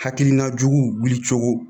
Hakilina juguw wuli cogo